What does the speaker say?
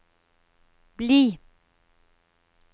bli